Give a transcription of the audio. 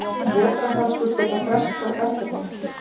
Vetrarhörkur gætu frestað verkefninu.